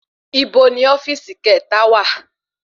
Ibo ni ofíìsì kẹta wa?